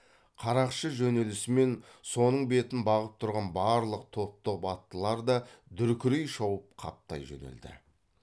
қарақшы жөнелісімен соның бетін бағып тұрған барлық топ топ аттылар да дүркірей шауып қаптай жөнелді